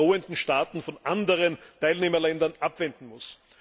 drohenden Schaden von anderen Teilnehmerländern abwenden muss.